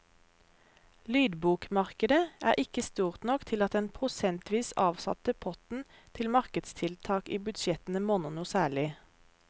Lydbokmarkedet er ikke stort nok til at den prosentvis avsatte potten til markedstiltak i budsjettene monner noe særlig.